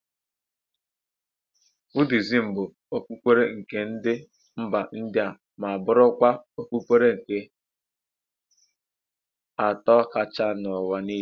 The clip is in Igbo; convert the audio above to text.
Hinduizm bụ okpukpere nke ndị mba India ma bụrụkwa okpukpere nke atọ kachaa n'ụwa niile.